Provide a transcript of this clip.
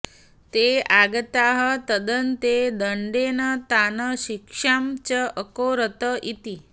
ते आगताः तदन्ते दण्डेन तान् शिक्षां च अकरोत् इति